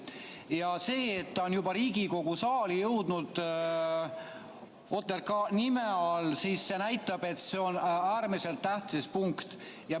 Ja see, et see on juba Riigikogu saali jõudnud OTRK nime all, näitab, et see on äärmiselt tähtis punkt.